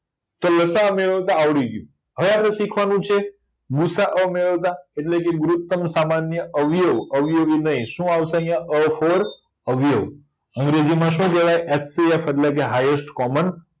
ચાલો લસાઅ મેળવતા આવડી ગયું હવે આપણે શીખવાનું છે ગુસાઅ મેળવતા એટલેકે ગુરૂતમ સામાન્ય અવયવ અવયવી નય શું આવશે આયા અ ફોર અવયવ અંગ્રેજીમાં એચસીએફ હયેસ્ટ કોમન